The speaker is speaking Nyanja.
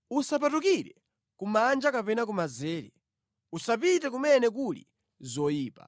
Usapatukire kumanja kapena kumanzere; usapite kumene kuli zoyipa.